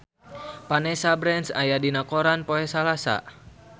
Vanessa Branch aya dina koran poe Salasa